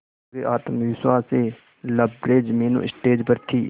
पूरे आत्मविश्वास से लबरेज मीनू स्टेज पर थी